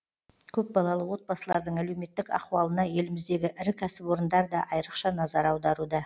көпбалалы отбасылардың әлеуметтік ахуалына еліміздегі ірі кәсіпорындар да айрықша назар аударуда